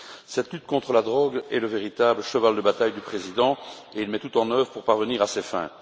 Cette lutte contre la drogue est le véritable cheval de bataille du président et il met tout en œuvre pour parvenir à ses fins.